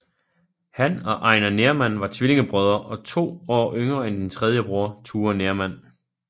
Han og Einar Nerman var tvillingebrødre og to år yngre end den tredje broder Ture Nerman